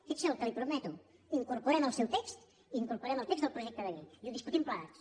fixi’s en el que li prometo incorporem el seu text incorporem el text del projecte de llei i ho discutim plegats